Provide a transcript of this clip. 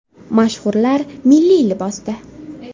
Mashhurlar milliy libosda .